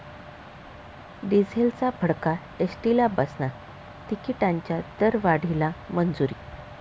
डिझेलचा भडका एसटीला बसणार, तिकिटांच्या दरवाढीला मंजुरी